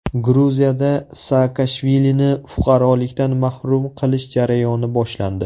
Gruziyada Saakashvilini fuqarolikdan mahrum qilish jarayoni boshlandi.